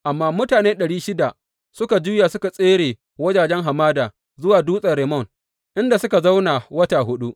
Amma mutane ɗari shida suka juya suka tsere wajajen hamada zuwa dutsen Rimmon, inda suka zauna wata huɗu.